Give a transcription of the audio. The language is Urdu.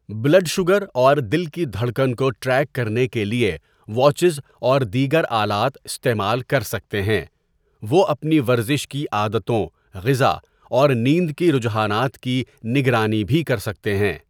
بلڈ شوگر اور دل کی ڈھڑکن کو ٹریک کرنے کے لیے واچز اور دیگر آلات استعمال کر سکتے ہیں وہ اپنی ورزش کی عادتوں غذا اور نیند کی رجحانات کی نگرانی بھی کرسکتے ہیں.